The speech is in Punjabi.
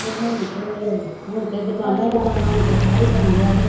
ਤੇ ਹੁਣ ਤੇ ਹੁਣ ਤੇ ਦੁਕਾਨਾਂ ਈ ਦੁਕਾਨਾਂ ਹੁਣ ਤੇ ਸ਼ਹਿਰ ਈ ਬਣ ਗਿਆ ਤੇ।